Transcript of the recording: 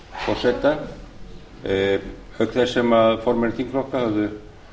forseta auk þess sem formenn þingflokka höfðu